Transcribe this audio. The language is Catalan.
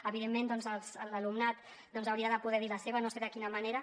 evidentment l’alumnat hi hauria de poder dir la seva no sé de quina manera